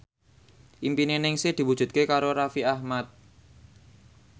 impine Ningsih diwujudke karo Raffi Ahmad